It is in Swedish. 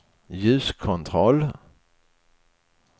ljuskontroll